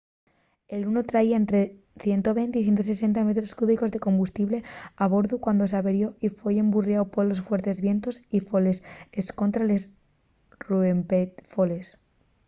el luno traía ente 120 y 160 metros cúbicos de combustible a bordu cuando s’averió y foi emburriáu polos fuertes vientos y les foles escontra’l ruempefoles